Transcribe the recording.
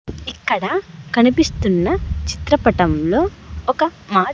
ఇక్కడ కనిపిస్తున్న చిత్రపటంలో ఒక మా--